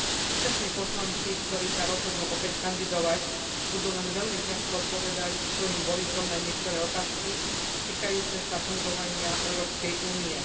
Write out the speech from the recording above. Súčasní poslanci, ktorí sa rozhodnú opäť kandidovať, budú len veľmi ťažko odpovedať svojim voličom na niektoré otázky týkajúce sa fungovania Európskej Únie.